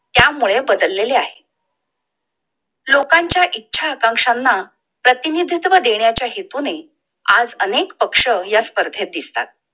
त्यामुळे बदललेले आहे! लोकांच्या इच्छा आकांक्षांना प्रतिनिधित्व देण्याच्या हेतुनी आज अनेक पक्ष या स्पर्धेत दिसता!